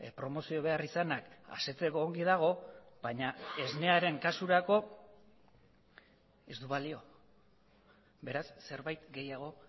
promozio beharrizanak asetzeko ongi dago baina esnearen kasurako ez du balio beraz zerbait gehiago